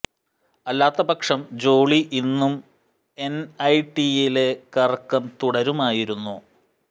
അല്ലാത്ത പക്ഷം ജോളി ഇന്നും എൻ ഐ ടിയിലെ കറക്കം തുടരുമായിരുന്നു